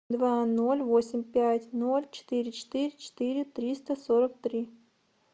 два ноль восемь пять ноль четыре четыре четыре триста сорок три